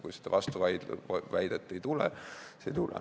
Kui seda vastuväidet ei tule, siis ei tule.